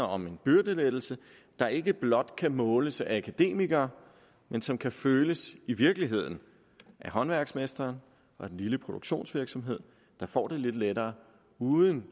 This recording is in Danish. om en byrdelettelse der ikke blot kan måles af akademikere men som kan føles i virkeligheden af håndværksmestrene og den lille produktionsvirksomhed der får det lidt lettere uden